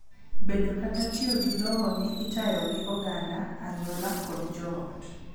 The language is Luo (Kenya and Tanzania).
bedo kata tiyo gi lowo ne itayo gi oganda, anyuola, kod joot